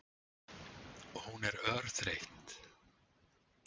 Hún er örþreytt.